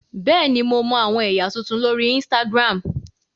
Bẹẹni, Mo mọ awọn ẹya tuntun lori Instagram.